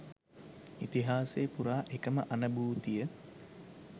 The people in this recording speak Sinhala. ඉතිහාසය පුරා එකම අනභූතිය